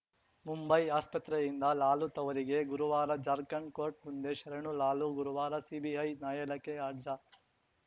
ಮುಂಬೈ ಆಸ್ಪತ್ರೆಯಿಂದ ಲಾಲು ತವರಿಗೆ ಗುರುವಾರ ಜಾರ್ಖಂಡ್‌ ಕೋರ್ಟ್‌ ಮುಂದೆ ಶರಣು ಲಾಲು ಗುರುವಾರ ಸಿಬಿಐ ನ್ಯಾಯಾಲಯಕ್ಕೆ ಹಾರ್ಜ